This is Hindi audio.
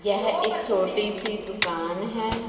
यह एक छोटीसी दुकान हैं।